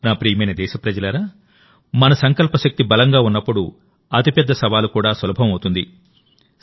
నా ప్రియమైన దేశప్రజలారామన సంకల్ప శక్తి బలంగా ఉన్నప్పుడుఅతి పెద్ద సవాలు కూడా సులభం అవుతుంది